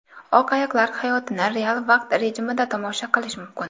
Oq ayiqlar hayotini real vaqt rejimida tomosha qilish mumkin.